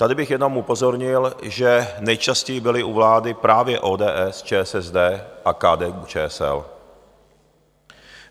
Tady bych jenom upozornil, že nejčastěji byly u vlády právě ODS, ČSSD a KDU-ČSL.